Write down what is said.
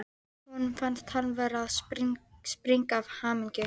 Honum fannst hann vera að springa af hamingju.